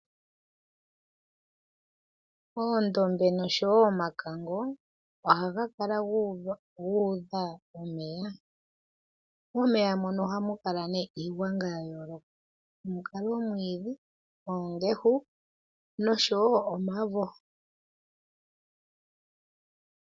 Oondombe nosho wo omakango ohaga kala gu udha omeya. Momeya mono ohamu kala nee iigwanga yayooloka hamu kala omwiidhi, oongehu nosho wo omavo.